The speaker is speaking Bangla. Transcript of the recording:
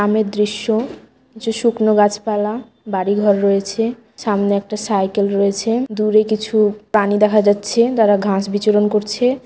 গ্রামের দৃশ্য যে শুকনো গাছপালা বাড়িঘর রয়েছে। সামনে একটা সাইকেল রয়েছে দূরে কিছু প্রানি দেখা যাচ্ছে তারা ঘাস বিচরণ করছে |